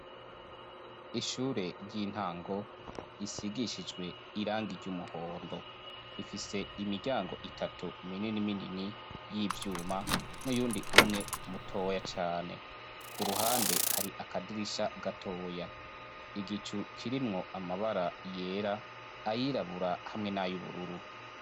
Ishure ry'intango risigishijwe irangi ry'umuhondo. Ifise imiryango mitatu minini y'ivyuma n'uyundi umwe mutoya cane. Ku ruhande hari akadirisha gatoya. Igicu kirimwo amabara yera, ayirabura hamwe n'ayubururu.